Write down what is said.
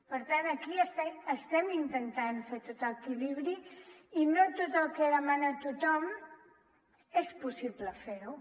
per tant aquí estem intentant fer tot l’equilibri i no tot el que demana tothom és possible fer ho